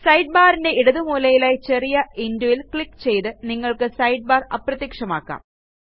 side barന്റെ ഇടതുമൂലയിലായി ചെറിയ xൽ ക്ലിക്ക് ചെയ്ത് നിങ്ങൾക്ക് സൈഡ്ബാർ അപ്രത്യക്ഷമാക്കാം